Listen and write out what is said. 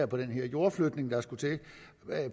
på den her jordflytning der skulle til